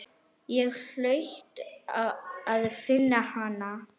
Ég hlaut að finna hana.